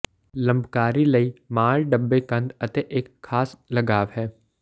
ਲੰਬਕਾਰੀ ਲਈ ਮਾਲ ਡੱਬੇ ਕੰਧ ਅਤੇ ਇੱਕ ਖਾਸ ਲਗਾਵ ਹੈ